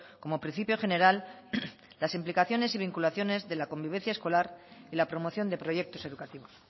como principio general las implicaciones y vinculaciones de la convivencia escolar y la promoción de proyectos educativos